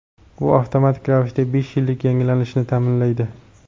U avtomatik ravishda besh yillik yangilanishni ta’minlaydi.